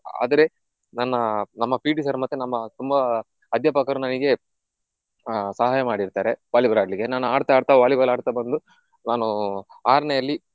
ಆದ್ರೆ ನನ್ನ ನಮ್ಮ PT sir ಮತ್ತೆ ನಮ್ಮ ತುಂಬಾ ಅಧ್ಯಾಪಕರು ನನಿಗೆ ಆಹ್ ಸಹಾಯ ಮಾಡಿರ್ತಾರೆ Volleyball ಆಡ್ಲಿಕ್ಕೆ. ನಾನ್ ಆಡ್ತಾ ಆಡ್ತಾ Volleyball ಆಡ್ತಾ ಬಂದು ನಾನು ಆರ್ನೆಯಲ್ಲಿ